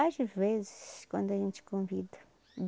Às vezes, quando a gente convida.